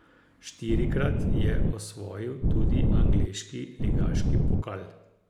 Štirikrat je osvojil tudi angleški ligaški pokal.